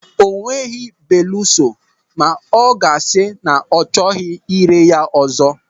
O nweghị, beluso ma ọ ga-asị na ọ chọghị irè ya ọzọ.